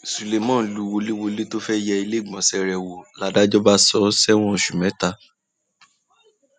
suleman lù wọléwọlẹ tó fẹẹ yẹ iléegbọnṣe rẹ wò ládàjọ ládàjọ bá sọ ọ sẹwọn oṣù mẹta